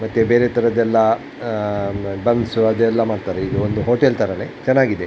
ಮತ್ತೆ ಬೇರೆ ತರದ್ ಎಲ್ಲ ಆಹ್ಹ್ ಬಂಪ್ಸ್ ಅದ್ ಎಲ್ಲ ಮಾಡ್ತಾರೆ ಇದು ಒಂದು ಹೋಟೆಲ್ ತರಾನೇ ಚೆನ್ನಾಗಿದೆ .